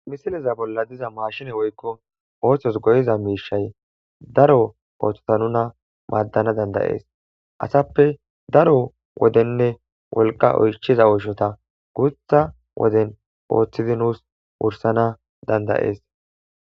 Misileza bolla diza maashine woykko oohthos go'iza miishay daro powoththota nuna maaddana dandayees asappe daro wodenne wolqa oychiza ooshota guutha woden poothizinus wursana dandayees.